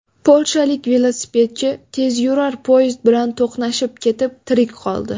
Polshalik velosipedchi tezyurar poyezd bilan to‘qnashib ketib, tirik qoldi .